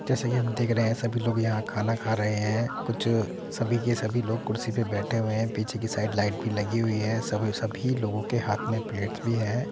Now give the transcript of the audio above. जैसा की हम देख रहे हैं सभी लोग यहाँ खाना खा रहे हैं कुछ सभी के सभी लोग कुर्सी पर बैठे हुए हैं| पीछे की साइड लाइट भी लगी हुई है | सभी लोगों के हाथों में प्लेट्स भी है |